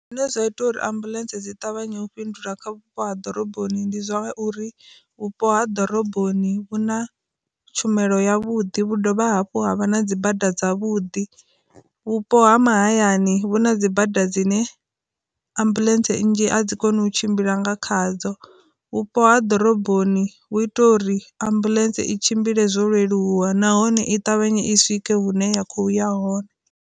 Zwine zwa ita uri ambuḽentse dzi ṱavhanya u fhindula kha vhupo ha ḓoroboni ndi zwa uri, vhupo ha ḓoroboni vhuna tshumelo ya vhuḓi vhu dovha hafhu havha na dzi bada dza vhudi, vhupo ha hu na dzi bada dzine ambuḽentse nnzhi a dzi koni u tshimbila nga khadzo, vhupo ha ḓoroboni hu ita uri ambuḽentse i tshimbile zwo leluwa nahone i ṱavhanye i swike hune ya khou ya hone.